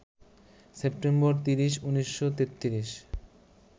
September ৩০, ১৯৩৩